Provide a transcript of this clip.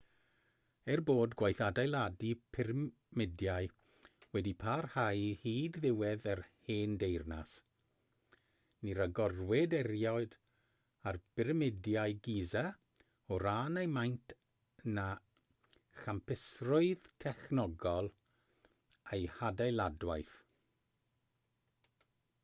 er bod gwaith adeiladu pyramidiau wedi parhau hyd ddiwedd yr hen deyrnas ni ragorwyd erioed ar byramidiau giza o ran eu maint na champusrwydd technegol eu hadeiladwaith